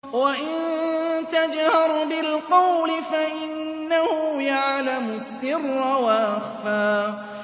وَإِن تَجْهَرْ بِالْقَوْلِ فَإِنَّهُ يَعْلَمُ السِّرَّ وَأَخْفَى